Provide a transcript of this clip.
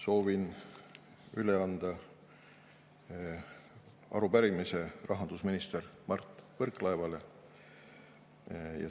Soovin üle anda arupärimise rahandusminister Mart Võrklaevale.